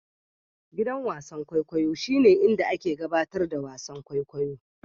Gidan wasan kwaikwayo shine inda ake gabatar da wasan kwaikwayo.